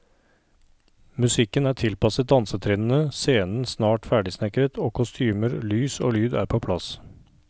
Musikken er tilpasset dansetrinnene, scenen snart ferdigsnekret, og kostymer, lys og lyd er på plass.